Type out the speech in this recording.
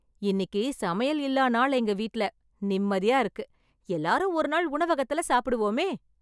இன்னிக்கு சமையல் இல்லா நாள் எங்க வீட்ல. நிம்மதியா இருக்கு, எல்லாரும் ஒரு நாள் உணவகத்துல சாப்பிடுவோமே!!